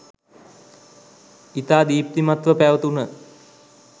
ඉතා දීප්තිමත්ව පැවතුන